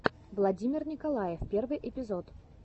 владимир николаев первый эпизод